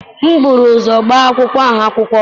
M buru ụzọ gbaa akwụkwọ ahụ akwụkwọ.